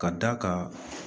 Ka d'a kan